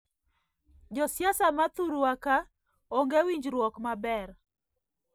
Josiasa ma thur ka onge winjruok maber